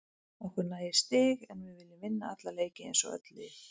Okkur nægir stig en við viljum vinna alla leiki eins og öll lið.